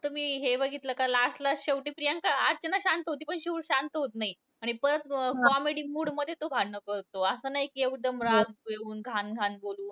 तुम्ही हे बघितलं का last ला शेवटी प्रियांका अर्चना शांत होती, पण शिव शांत होतं नाही. आणि परत comedy mood मध्ये तो भांडण करतो. असं नाही कि एकदम राग येऊन घाण घाण बोलून.